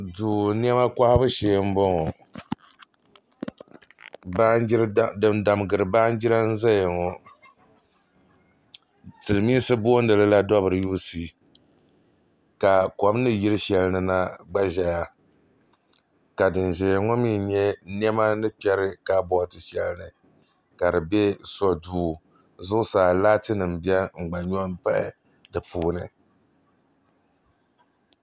Doo nyama kohabu shee n bɔŋɔ din dangiri baan jara zaya ŋɔ silimiinsi boondila dobili yjusi ka kom ni yiri shɛlini na gba zeya ka din zɛyaŋɔ mi nya nema ni kperi kaa booti shɛlini kadi bɛ so duu zuɣusaa laatinim bɛ n gba nyo paya dipuuni